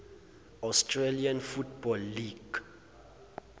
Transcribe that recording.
australian football league